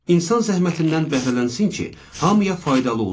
İnsan zəhmətindən bəhrələnsin ki, hamıya faydalı olsun.